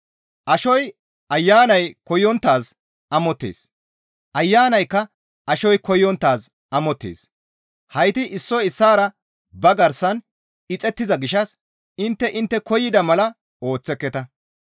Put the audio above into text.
Ashoy Ayanay koyonttaaz amottees; Ayanaykka ashoy koyonttaaz amottees; hayti issoy issaara ba garsan ixettiza gishshas intte intte koyida mala ooththeketa.